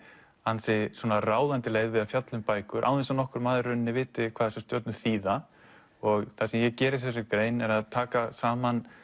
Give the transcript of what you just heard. ansi svona ráðandi leið við að fjalla um bækur án þess að nokkur maður viti hvað þessar stjörnur þýða það sem ég geri í þessari grein er að taka saman